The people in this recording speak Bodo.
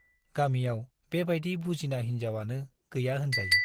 गामियाव बे बाइदि बुजिना हिन्जाव आनो गैया होनजायो ।